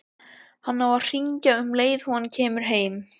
Hann á að hringja um leið og hann kemur heim.